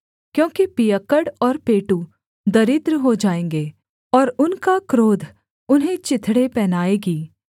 क्योंकि पियक्कड़ और पेटू दरिद्र हो जाएँगे और उनका क्रोध उन्हें चिथड़े पहनाएगी